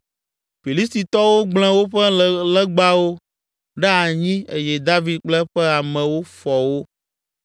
Filistitɔwo gblẽ woƒe legbawo ɖe anyi eye David kple eƒe amewo fɔ wo.